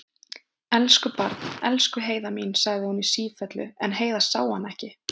Elsku barn, elsku Heiða mín, sagði hún í sífellu, en Heiða sá hana ekki.